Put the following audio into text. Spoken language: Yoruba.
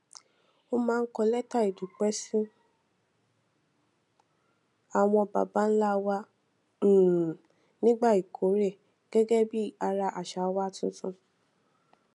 a máa ń kọ létà ìdúpé sí àwọn baba ńlá wa um nígbà ìkórè gégé bí ara àṣà wa tuntun